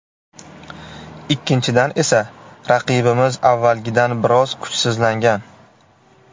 Ikkinchidan esa, raqibimiz avvalgidan biroz kuchsizlangan.